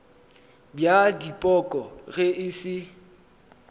bja dipoko ge e se